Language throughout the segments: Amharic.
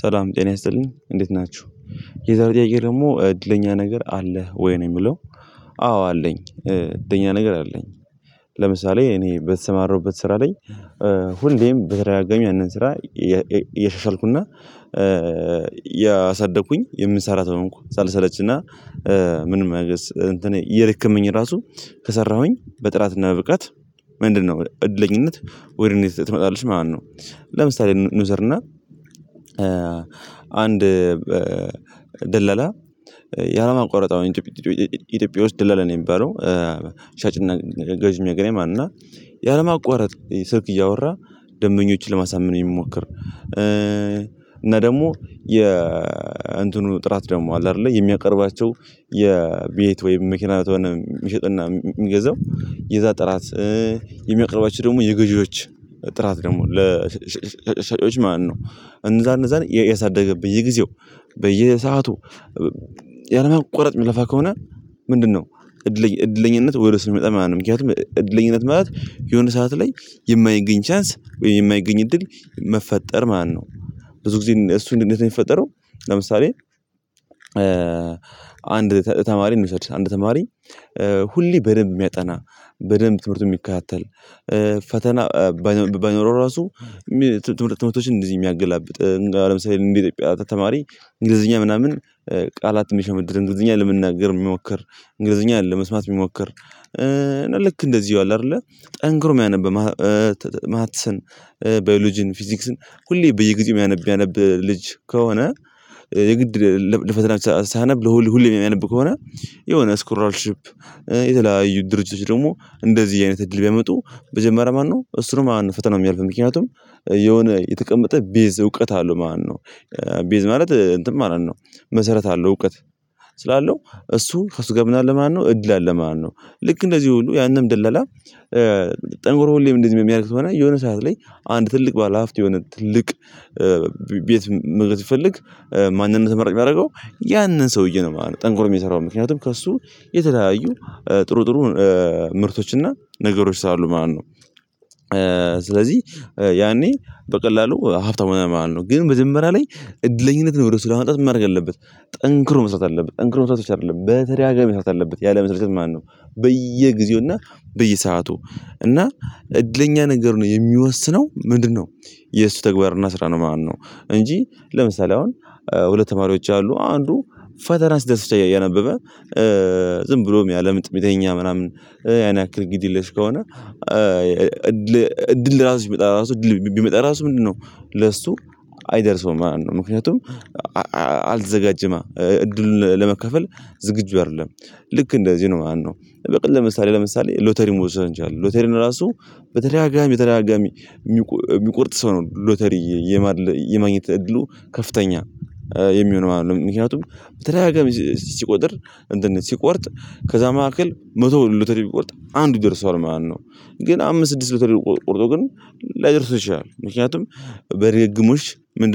ሰላም ጤና ያስጠልን እንዴት ናችሁ። የዛሬ ደግሞ እድለኛ ነገር አለህ ወይ ነው የሚለው? አዎ አለኝ እድለኛ ነገር አለኝ። ለምሳሌ እኔ በተሰማሩበት ስራ ላይ። ሁሌም በተደጋጋሚ ያንን ስራ እየሻሻልኩና። ያሳደግኩኝ የምሰራ ሰው ሆንኩ ሳልሰለችና። ምንም ነገር እንትኔ እየደከመኝ ራሱ ከሰራሁኝ በጥራትና በብቃት ምንድነው እድለኝነት ወይንም ትመጣለች ማለት ነው። ለምሳሌ እንውሰድና አንድ ደለላ ያላመቆረጥ ኢትዮጵያ ኢትዮጵያ ውስጥ ደለላ ነው የሚባለው። ሻጭና ገዥ የምያገነኝ እና ያለማቋረጥ ስልክ እያወራ ደንበኞችን ለማሳመን የሚሞክር። እና ደግሞ የ እንትኑ ጥራት ደግሞ አለ አይደለ የሚያቀርባቸው። የቤት ወይም መኪና ከሆነ የሚሸጥና የሚገዛው የዛ ጥራት የሚያቀርባቸው ደግሞ የገዢዎች ጥራት ደግሞ ለሻጮች ማለት ነው። እንደዛ እንደዛ እያሳደገ በየጊዜው በየሰአቱ ያለማቋረጥ የሚለፋ ከሆነ። ምንድነው? እድለኛነት ወደ ይመጣል ማለት ነው። ምክንያቱም እድለኛነት ማለት የሆነ ሰዓት ላይ የማይገኝ ቻንስ ወይም የማይገኝ እድል መፈጠር ማለት ነው። ብዙ ጊዜ እሱን እንደዚህ ነው የሚፈጠረው። ለምሳሌ አንድ ተማሪ እንውሰድ አንድ ተማሪ ሁሌ በደንብ የሚያጠና በደንብ ትምህርቱን የሚካታተል። ፈተና ባይኖረው ራሱ ትምህርት ትምህርቶችን እንደዚህ የሚያገላብጥ ለምሳሌ ኢትዮጵያ ተማሪ እንግሊዝኛ ምናምን ቃላት የሚሸመድድ እንግሊዝኛ ለመናገር የሚሞክር እንግሊዝኛ ለመስማት የሚሞክር። ልክ እንደዚሁ አለ አይደለ ጠንክሮ የሚያነብ ማትስን ባዮሎጂን ፊዚክስን ሁሌ በየግዜ የሚያነብ ያነብ ልጅ ከሆነ። የግድ ለፈተና ሳይነብ ለሁሉ ሁሉ የሚያነብ ከሆነ። የሆነ ስኮራልሺፕ የተለያዩ ድርጅቶች ደግሞ እንደዚህ አይነት እድል ቢያመጡ መጀመሪያ ማነው እሱ ነው ማለት ፈተናው የሚያልፍ ምክንያቱም። የሆነ የተቀመጠ ቤዝ እውቀት አለው ማለት ነው። ቤዝ ማለት እንትን ማለት ነው። መሰረት አለው እውቀት። ስላለው እሱ ከሱ ጋር ምን እድል አለ ማለት ነው። ልክ እንደዚህ ሁሉ ያንን ደላላ። ጠንኮሮ ሁሌም እንደዚህ ሚያደርግ ስሆነ የሆነ ሰዓት ላይ አንድ ትልቅ ባለሀብት የሆነ ትልቅ ቤት መግዛት ቢፈልግ። ማንነት ተመራጭ ሚያደርገው ያንን ሰውዬ ነው ማለት ነው። ጠንቆሮ ሚሰራውን ምክንያቱም ከእሱ የተለያዩ ጥሩ ጥሩ ምርቶችና ነገሮች ስለ አሉ ማለት ነው። ስለዚህ ያኔ በቀላሉ ሀብታም ይሆናል ማለት ነው። ግን መጀመርያ ላይ እድለኝነትን ወደ ስራ ለማምጣት ምን ማረግ ያለበት? ጠንክሮ መስራት አለበት ጠንክሮ መስራት ብቻ አይደለም በተደጋጋሚ መስራት አለበት። ያለመሰልቸት በየጊዜውና በየሰአቱ እና እድለኛ ነገር ነው የሚወስነው። ምንድነው? የእሱ ተግባር እና ስራ ነው ማለት ነው። እንጂ ለምሳሌ አሁን ሁለት ተማሪዎች አሉ አንዱ ፈተና ሲደርስ ብቻ እያነበበ ዝም ብሎም ምያለምጥ ሚተኛ ምናምን ያን ያክል ግድ የለሽ ከሆነ። እድል ራሱ ቢመጣ ራሱ እድል ቢመጣ ራሱ ምንድነው? ለሱ አይደርሰውም ማለት ነው። ምክንያቱም አልተዘጋጅማ እድሉን ለመከፈል ዝግጁ አይደለም። ልክ እንደዚህ ነው ማለት ነው። በቃ ለምሳሌ ለምሳሌ ሎተሪን መውሰድ እንችላለን። ሎተሪን ራሱ በተደጋጋሚ ተደጋጋሚ የሚቆርጥ ሰው ነው ሎተሪ። የማግኘት እድሉ ከፍተኛ የሚሆነው ማለት ነው። ምክንያቱም በተደጋጋሚ ሲቆጥር እንትን ሲቆርጥ ከዛ መካከል መቶ ሎተሪ ቢቆርጥ አንዱ ይደርሰዋል ማለት ነው። ግን አምስት ስድስት ሎተሪ ቆርጦ ግን ላይደርሱት ይችላል ምክንያቱም በድግምግሞሽ ምን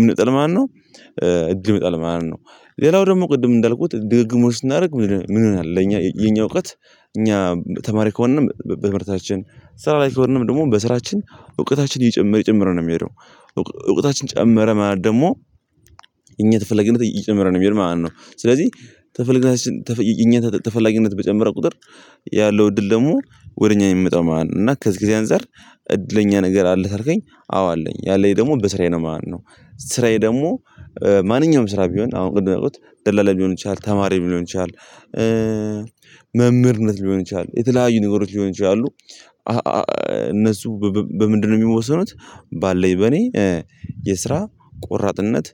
የመጣል ማለት ነው። እድል ይመጣል ማለት ነው። ሌላው ደግሞ ቅድም እንዳልኩት ድግግሞሽ ስናደርግ ምን ምን ይሆናል? ለእኛ የኛ እውቀት እኛ ተማሪ ከሆነንም በትምህርታችን ስራ ላይ ከሆነንም ደግሞ በስራችን እውቀታችን እየጨመር ይጨምር ነው የሚሄደው። እውቀታችን ጨመረ ማለት ደግሞ እኛ ተፈለግነት ይጨምራል ማለት ነው። ስለዚህ ተፈላጊነት በተፈላጊነት በጨመረ ቁጥር። ያለው እድል ደግሞ ወደ እኛ የሚመጣው ማለት ነው። እና ከዚህ ጊዜ አንፃር እድለኛ ነገር አለ ተርከኝ አዎ አለኝ ያለኝ ደግሞ በስራዬ ነው ማለት ነው። ስራዬ ደግሞ ማንኛውም ስራ ቢሆን አሁን ቅድም እንዳልኩት ደላላ ሊሆን ይችላል ተማሪም ሊሆን ይችላል። መምህርነት ሊሆን ይችላል የተለያዩ ነገሮች ሊሆን ይችላሉ። እነሱ በምንድነው የሚወሰኑት? ባለኝ በኔ የስራ ቆራጥነት።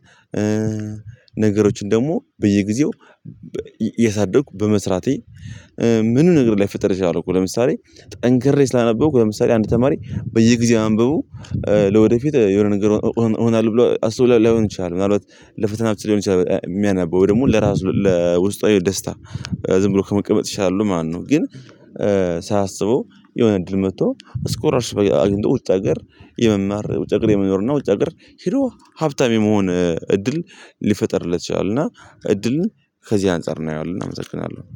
ነገሮችን ደግሞ በየጊዜው የሳደኩ በመስራቴ። ምንም ነገር ላይፈጠረ ይችላል እኮ ለምሳሌ ጠንክሬ ስላነበብኩ ለምሳሌ አንድ ተማሪ በየጊዜው አንብቡ ለወደፊት የሆነ ነገር እሆናለሁ ብሎ አስቡ ላይሆን ይችላል። ምናልባት ለፈተና ብቻ ሊሆን ይችላል የሚያነበው ደግሞ ለራሱ ለውስጣዊ የደስታ ዝም ብሎ ከመቀመጥ ይሻላሉ ማለት ነው። ግን ሳያሰበው የሆነ እድል መጥቶ ስኮላርርሽፕ አግኝቶ ውጭ ሀገር የመማር ውጭ የመኖር እና ውጭ የመኖር ሂዶ ሀብታም የመሆን እድል ሊፈጠርለት ይችላል። እና እድልን ከዚህ አንፃር እናየዋለን እናመሰግናለን።